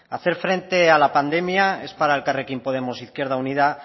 hacer frente a la pandemia es para elkarrekin podemos izquierda unida